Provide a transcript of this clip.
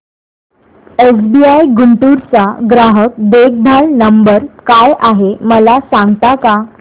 SBI Guntur चा ग्राहक देखभाल नंबर काय आहे मला सांगता का